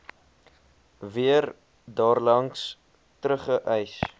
weer daarlangs teruggereis